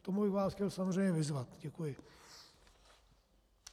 K tomu bych vás chtěl samozřejmě vyzvat. Děkuji.